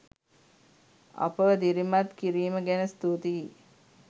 අපව දිරිමත් කිරීම ගැන ස්තුතියි.